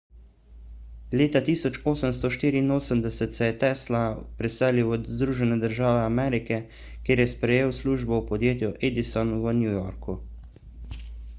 leta 1884 se je tesla preselil v združene države amerike kjer je sprejel službo v podjetju edison v new yorku